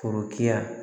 Forokiya